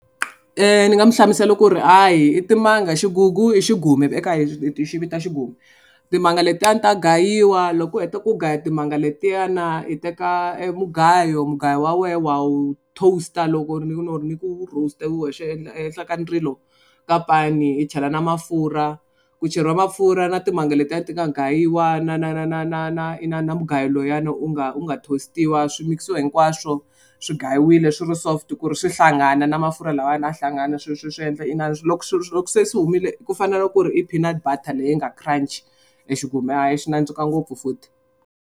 Ni nga mu hlamusela ku ri a hi i timanga xigugu i xigume eka hina hi xi vita xigume. Timanga letiyani ta gayiwa loko u heta ku gaya timanga letiyana hi teka e mugayo mugayo wa wena wa wu toast-a loko ni ni ni ku roaster ehenhla ka ndzilo ka pani hi chela na mafurha ku cheriwa mafurha na timanga letiya ti nga gayiwa na na na na na na na na mugayo luyani u nga u nga toast-iwa swi mikisiwa hinkwaswo swi gayiwile swi ri soft ku ri swi hlangana na mafurha lawayana a hlangana swilo swi swi endla inana loko loko se swi humile ku fanele ku ri i peanut butter leyi nga crunchy e xigume hayi xi nandzika ngopfu futhi.